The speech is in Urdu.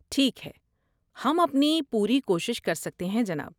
ٹھیک ہے، ہم اپنی پوری کوشش کر سکتے ہیں، جناب۔